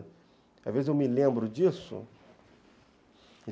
Às vezes eu me lembro disso.